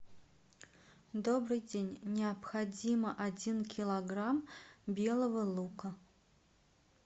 добрый день необходимо один килограмм белого лука